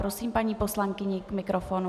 Prosím paní poslankyni k mikrofonu.